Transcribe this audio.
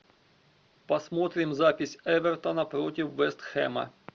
посмотрим запись эвертона против вест хэма